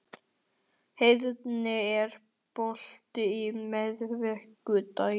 Heiðný, er bolti á miðvikudaginn?